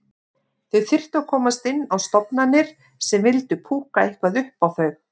Þau þyrftu að komast inn á stofnanir sem vildu púkka eitthvað upp á þau.